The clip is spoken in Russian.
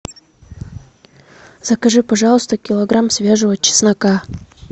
закажи пожалуйста килограмм свежего чеснока